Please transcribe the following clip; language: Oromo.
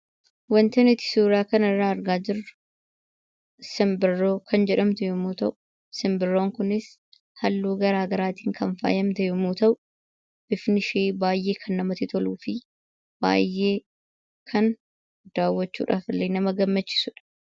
Waanti nuti suuraa kanarraa argaa jirru simbirroo kan jedhamtu yommuu ta'u, simbirroon kunis halluu garaa garaatiin kan faayamte yommuu ta'u, bifnishee baay'ee kan namatti toluu fi baay'ee kan daawwachuudhaaf illee nama gammachiisudha.